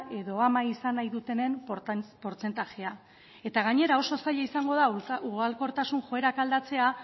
edo ama izan nahi dutenen portzentajea eta gainera oso zail izango da ugalkortasun joerak aldatzea